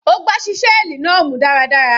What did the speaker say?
Ó gbá ṣíṣẹ́ẹ̀lì náà mú dáradára.